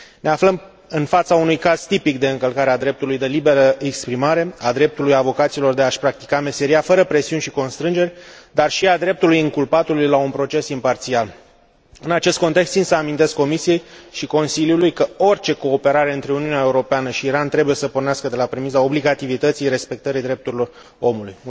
Ne aflăm în fața unui caz tipic de încălcare a dreptului la libera exprimare, a dreptului avocaților de a și practica meseria fără presiuni și constrângeri, dar și a dreptului inculpatului la un proces imparțial. În acest context, țin să amintesc Comisiei și Consiliului că orice cooperare între Uniunea Europeană și Iran trebuie să pornească de la premisa obligativității respectării drepturilor omului.